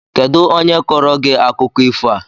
Kedụ onye kọọrọ gị akụkọ ifo a?